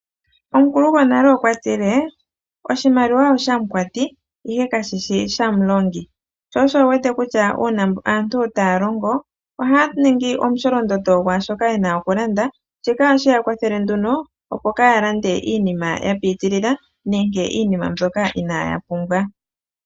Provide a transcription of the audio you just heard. Omukulu gonale okwa tile oshimaliwa oshamu kwati ihe kashishi shamulongi sho osho wu wete kutya uuna aantu taya longo ohaya ningi omusholondondo gwaashoka yena oku landa. Shika ohashi ya kwathele nduno opo kaaya lande iinima ya piitilila nenge iinima mbyoka inaaya pumbwa.